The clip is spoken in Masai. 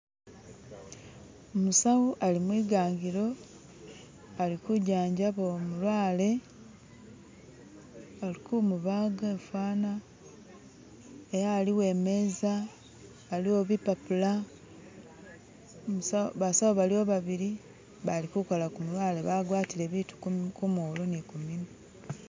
Musawo ali mwigangilo alikujanjaba umulwale alikumubaga fana ela aliwo emaza, aliwo bipapula, basawo baliwo babili balikukola kumulwale bagwatile bibintu kumolu ni kumunwa